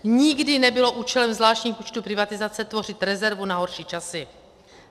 Nikdy nebylo účelem zvláštních účtů privatizace tvořit rezervu na horší časy.